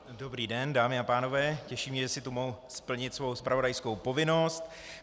Dobrý den, dámy a pánové, těší mě, že si tu mohu splnit svou zpravodajskou povinnost.